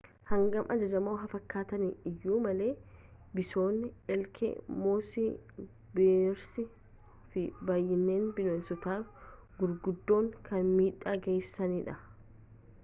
hangam ajajamoo haa fakkaatan iyyuu malee bison elk moose bears fi baay’inaan bineensotni gurguddoon kan miidhaa geesisaan dha